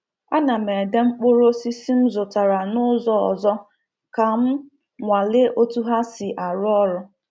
A na m ede mkpụrụ osisi m zụtara n’ụzọ ọzọ ka m nwalee otú ha si arụ ọrụ.